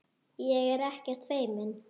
Ég er ekkert feimin.